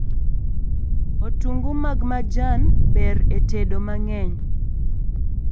Otungu mag majan ber e tedo mang'eny